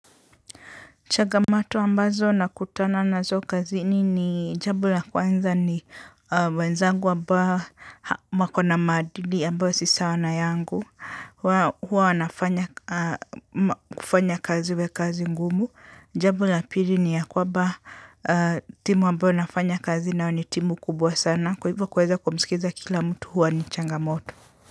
Changamoto ambazo nakutana nazo kazini ni; jambo la kwanza ni wenzangu ambao wako na maadili ambayo si sawa na yangu. Huwa wanafanya kufanya kazi iwekazi ngumu. Jambo la pili ni ya kwamba, timu ambayo nafanya kazi nayo ni timu kubwa sana. Kwa hivo kuweza kumisikiza kila mtu huwa ni changamotu.